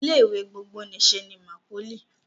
Ilé ìwé gbogbonìṣe ni MAPOLY